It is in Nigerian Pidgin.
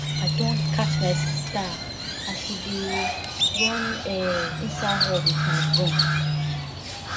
i don catch my sister as she dey run um inside hall with my broom